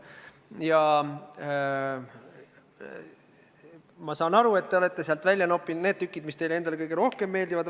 Ja ma saan aru, et te olete sealt välja noppinud just need tükid, mis teile endale kõige rohkem meeldivad.